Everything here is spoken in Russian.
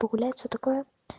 погулять всё такое